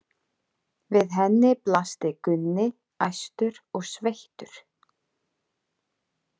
Við henni blasti Gunni, æstur og sveittur.